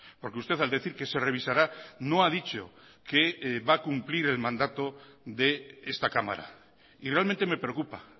porque usted al decir que se revisará no ha dicho que va a cumplir el mandato de esta cámara y realmente me preocupa